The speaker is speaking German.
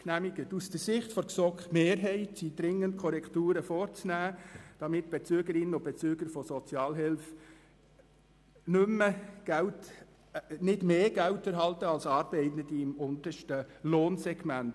Aus der Sicht der GSoK-Mehrheit sind dringend Korrekturen vorzunehmen, damit die Bezügerinnen und Bezüger von Sozialhilfe nicht mehr Geld bekommen als Arbeitende im untersten Lohnsegment.